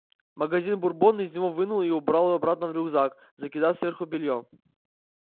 магазин бурбон из него вынул и убрал обратно в рюкзак закидав сверху бельём